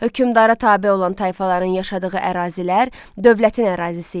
Hökmdara tabe olan tayfaların yaşadığı ərazilər dövlətin ərazisi idi.